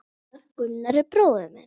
Gunnar, Gunnar er bróðir minn.